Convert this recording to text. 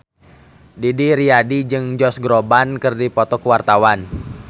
Didi Riyadi jeung Josh Groban keur dipoto ku wartawan